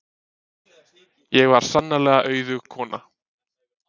Ég var sannarlega auðug kona.